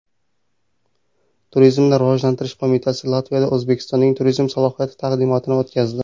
Turizmni rivojlantirish qo‘mitasi Latviyada O‘zbekistonning turizm salohiyati taqdimotini o‘tkazdi.